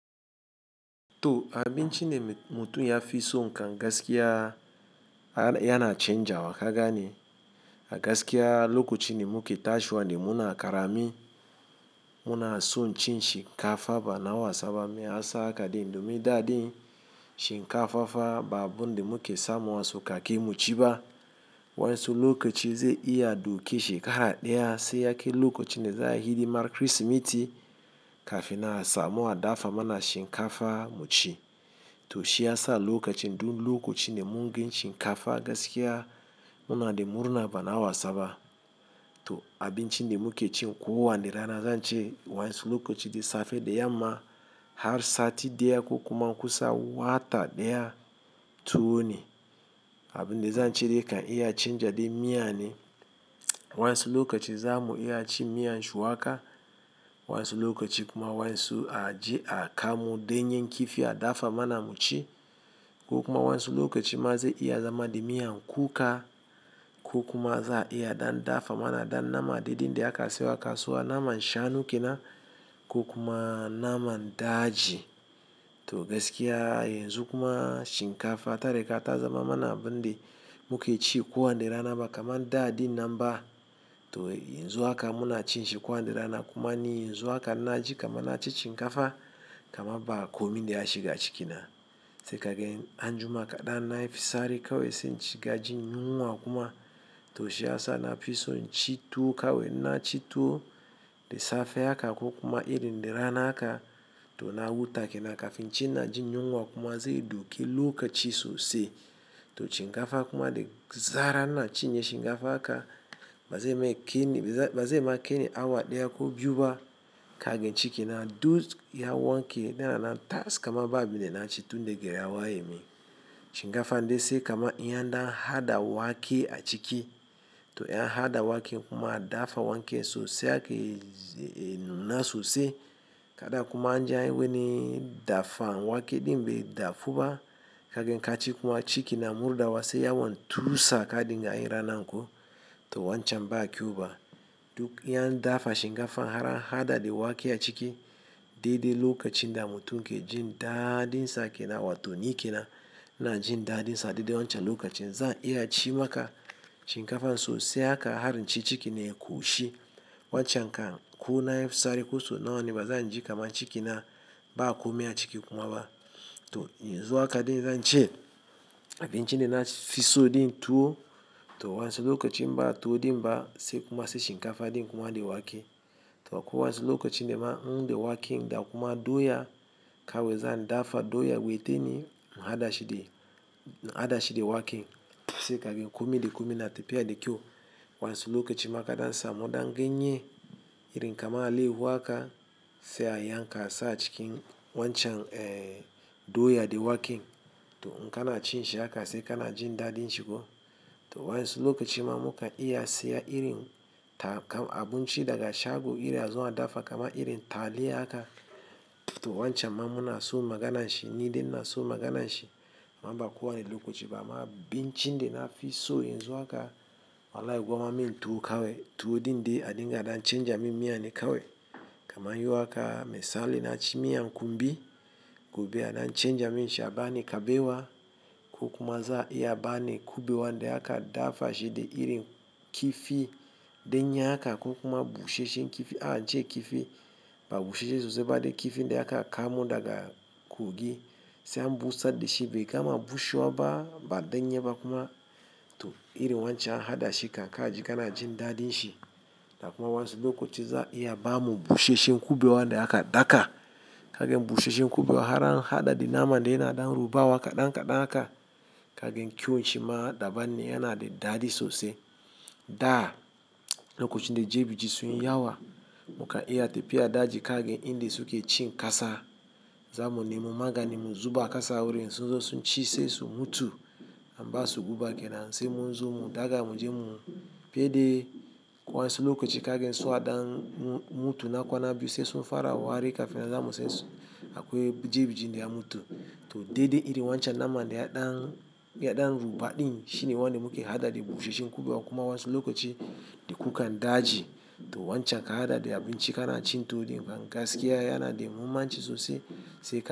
To abin ci da mutum ya fi so kan gaskiya yana canja wa kaga ne. A gaskiya lokacin da muke tashiwane muna ƙarami, muna son cin shinkafa bana wasaba maya sa haka ɗin domin da ɗin. Shinkafa fa ba abun da muke samu a sauƙaƙe mu ci ba. Wa'yansu lokaci zai iya ɗauke shekara ɗaya sai ya kai lokacin da za a yi hidimar krisimeti kafin nan a samu adafa mana shinkafa mu ci. To shi ya sa lokacin dun lokacin da mun gan shinkafa gaskiya muna da murna bana wasaba. To abin cin da muke ci ko wa ne rana zan ce wa'yansu lokaci da safe da yamma har sati ɗaya ko kuma kusan wata ɗaya tuwo ne. Abin da zan ce dai kan iya canja dai miya ne. Wa'yansu lokaci za mu iya cin miyan shuwaka, wa'yansu lokaci kuma wa'yansu aje a kamo ɗanyan kifi adafa mana mu ci. Ko kuma wa'yansu lokaci ma zai iya zama da miyan kuka ko kuma za a iya ɗan dafa mana ɗan nama daɗi da aka sayo a kasuwa naman shanu ke nan ko kuma naman daji. To gaskiya yanzu kuma shinkafa tari ga ta zama mana abin da muke ci kowa ne rana ba kamar da ɗin nan ba. To yanzu haka muna cin shi kowa ne rana kuma ni yanzu haka ina ji kamar na ci shinkafa kamar ba komi da ya shiga ciki na. Sai kagan an jima kaɗan na yi fisari kawai sai in ci gajin yunwa kuma. To shi ya sa na fi so ci tuwo kawai na ci tuwo da safe haka ko kuma iri da rana haka to na huta ke nan kafin inji inajin yunwa kuma zai doke lokaci sosai to shinkafa kuma da zarar na cinye shinkafa haka, bazai ma kainu, bazai ma kaini awa ɗaya ko biyu ba kagan ci ke nan. Duk ya wanke da rana taska kamar ba abin da na ci tun daga yawa ya yi min. Shinkafa dai sai kamar iya ɗan haɗa wake a ciki. To in an haɗa wake kuma adafa wake sosai har ke nuna sosai. Kada kuma an ja yi wani dafa wake ɗin bai dafu ba kagn ka ci kuma a ciki na murɗa wa sai yawon tusa kaɗin ga in rana ko to wancan ba a kyau ba. Duk yan dafa shinkafa har haɗa ɗe wake a ciki, daida lokacin da mutum ke jin daɗinsa ke nan wato ni ke nan. iNa jin daɗinsa daidai wancan lokacin za a iya ci maka shinkafa sosai haka har in ci ciki ne ƙoshi wancan ka kuna fitsari koso nawane ba zan ji kamar ciki na ba komai a ciki kuma ba. To yanzu haka dai zan ce abin ci dai na fi so ɗin tuwo. To wa, insu lokacin ba tuwo ɗin ba sai kuma sai shinkafa ɗin kuma da wake. To akwai wa, insu lokacin da ma in da wake in da kuma doya kawai zan dafa doya witini na haɗa shi da, na haɗa shi da wake sai kagen kuma da kuma na tafiya da ƙyau Wa, insu lokacin ma kaɗan na samu ɗan ganye, irin kamar allaiyahu haka sai a yanka a sa cikin wancan, eh, doya da wake. To in ka na cin shi haka sai ka na jin daɗin shi ko. To wa, insu lokacin ma mukan iya saya irin ta kamar abin ci daga shago irin ya zo adafa kamar irin taliya haka. To wancan ma muna so magana shi ni dai na so magana shi. Amma kuwa lokaci ba ma abin ci dai na fi so yanzu haka. Wallahi gwamma min tuwo kawai. Tuwo ɗin dai adinga na canja min miya ne kawai. Kamar yiwu haka misali na ci miyan kumbi, gobe ana canja min sha bane kabewa ko kuma za a yi bane kubewa da haka adafa shi da irin kifi. Ɗanye haka ko kuma bushe shen kifi. A jje kifi ba bushe sosai ba dai kifi da haka a kamu daga kogi sai an busadda shi bai kama bushewa ba, baɗanye ba kuma. To irin wancan haɗashi kan ka ji ka na jin daɗin shi. Da kuma wa, insu lokaci za a iya ba mu bushe shen kubewa da haka daka kagan bushe shen kuɓewa har haɗa da naman dai na ɗan rubawa kaɗan kaɗan haka kagan ƙyan shi ma daban ne yana da daɗi sosai. Da lokacin da ɗebi ji sun yi yawa mukan iya tafiya daji kaga in dai suke cn ƙasa. Za mu nemi maganin mu zuba kasa wurin sun zo sun ci sai su mutu. An ba su guba ke nan sai mun zo mu daga mu je mu tafiye dai. Wa, insu lokacin kagan so a ɗan mutu na kwana biyu sai sun fara wari kafin na za mu sai su akwai ɗebi ji da ya mutu. To daidai irin wancan naman dai ya ɗan, ya ɗan ruɓa ɗin shine waɗanda muke haɗaɗa bushe shen kubewa kuma waisu lokacin da kukan daji to wancan ka haɗa da abin ci ka na ci tuwo ɗin kuma gaskiya yana da muhimmanci sosai sai ka.